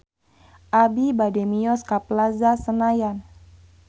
Abi bade mios ka Plaza Senayan